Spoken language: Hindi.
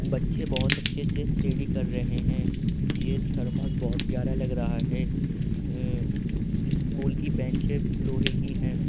बच्चे बोहोत अच्छे से स्टेडी कर रहे हैं। ये थर्मस बोहोत प्यारा लग रहा है। अ स्कूल की बेंचे लोहे की हैं।